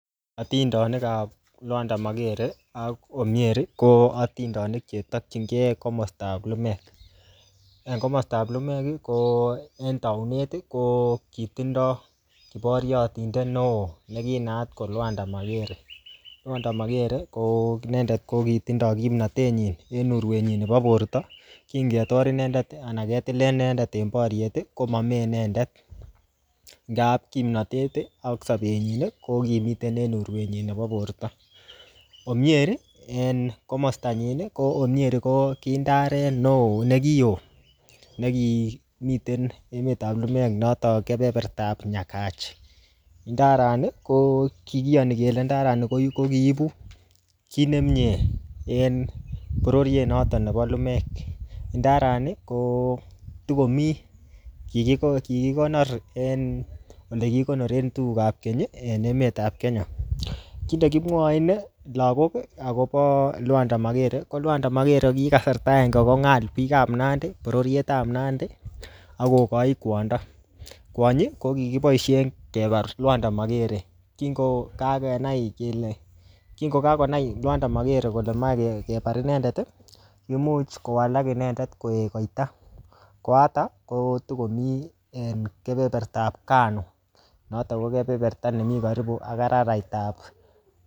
Atindonikap Lwanda Magere, ak Omieri, ko atindonik chetakchinkey komastab lumek. En komostab lumek, ko en taunet, ko kitindoi boriotindet neoo, ne kinaat ko Lwanda Magere. Lwanda Magere, ko inendet ko kitindoi kimnatet nyin en urwet nyin nebo borto. Kingetor inendet, anan ketile inendet en boryet, komamee inendet. Ndaap kimnatet ak sabet nyin, ko ngimiten en urwet nyin nebo borto. Omieri en komasta nyin, ko Omieri ko kiy ndaret neo, ne ki oo, nekimiten emetap lumek notok keberbertap Nyakach. Ndarani, ko kikiyani kele ndarani ko kiibu kiy nemie en bororiet notok nebo lumek. Ndarani kotiko mii. Kikiko-kikikonor en ole kikoronoren tugukap keny en emetap Kenya. Kiy nekimwochin lagok akobo Lwanda magere, ko ki Lwanda Magere ki kasrata agenge kong'al biikap Nandi, bororietab kwodo. Kwonyi, ko kikiboisien kebar Lwanda Magere. Kingo kakenai kele, kongo kakonai Lwanda Magere meche kebar inendet, kimuch kowalak inendet koek koita. Koatak kotikomii eng kebereberetap Kano. Notok ko keberebert anemii karibu ak arairaitap